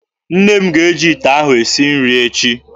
Nne m ga-eji ite ahụ esi nri echi.